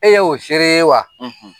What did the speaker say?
E y'o seere ye wa?